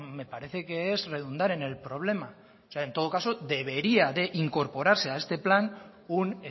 me parece que es redundar en el problema o sea en todo caso debería de incorporarse a este plan un